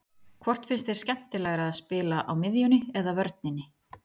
Hvort finnst þér skemmtilegra að spila á miðjunni eða vörninni?